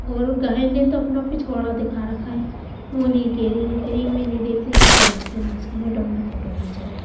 और गाय ने तो अपना पिछवाड़ा दिखा रखा है वो नहीं कह रही वो कह रही मै नहीं देखती हटो यहाँ से नासपीटे ये क्यों मेरा फोटो खींच रहा है।